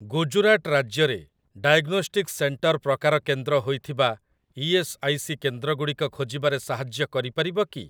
ଗୁଜୁରାଟ ରାଜ୍ୟରେ diagnostics centre ପ୍ରକାର କେନ୍ଦ୍ର ହୋଇଥିବା ଇ.ଏସ୍. ଆଇ. ସି. କେନ୍ଦ୍ରଗୁଡ଼ିକ ଖୋଜିବାରେ ସାହାଯ୍ୟ କରିପାରିବ କି?